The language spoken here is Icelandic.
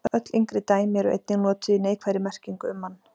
Öll yngri dæmi eru einnig notuð í neikvæðri merkingu um mann.